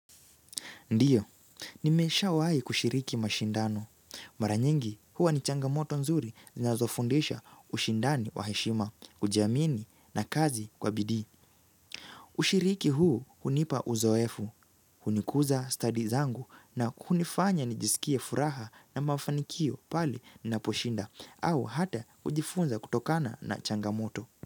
Ndio, nimeshawahi kushiriki mashindano. Mara nyingi, huwa ni changamoto nzuri zinazofundisha ushindani wa heshima, kujiamini na kazi kwa bidii. Ushiriki huu hunipa uzoefu, hunikuza study zangu na kunifanya nijisikie furaha na mafanikio pale ninaposhinda au hata kujifunza kutokana na changamoto.